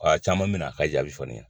Awa caman min na a ka jaabi fɔ ne ɲɛ na.